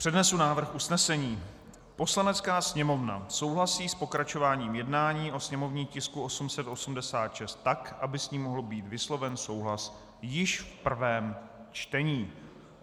Přednesu návrh usnesení: "Poslanecká sněmovna souhlasí s pokračováním jednání o sněmovním tisku 886 tak, aby s ním mohl být vysloven souhlas již v prvém čtení."